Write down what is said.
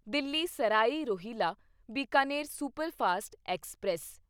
Delhi Sarai Rohilla Bikaner superfast express